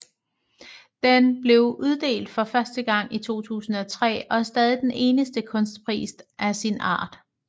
Den blev uddelt for første gang i 2003 og er stadig den eneste kunstpris af sin art